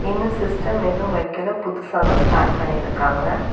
இன்னும் சிஸ்டம் எதும் வைக்கல புதுசா தான் ஸ்டார்ட் பண்ணிருக்காங்க.